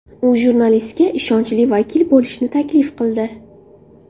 U jurnalistga ishonchli vakil bo‘lishni taklif qildi.